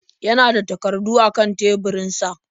Ya na da takardu a kan teburinsa.